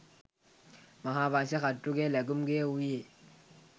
මහාවංශ කර්තෘගේ ලැගුම් ගෙය වූයේ